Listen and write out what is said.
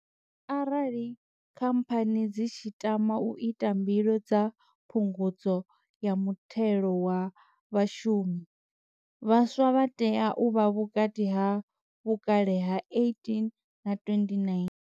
Arali Khamphani dzi tshi tama u ita mbilo dza Phungudzo ya Muthelo wa Vhashumi, vhaswa vha tea u vha vhukati ha vhukale ha 18 na 29.